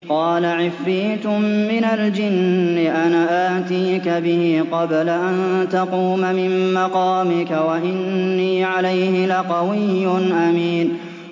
قَالَ عِفْرِيتٌ مِّنَ الْجِنِّ أَنَا آتِيكَ بِهِ قَبْلَ أَن تَقُومَ مِن مَّقَامِكَ ۖ وَإِنِّي عَلَيْهِ لَقَوِيٌّ أَمِينٌ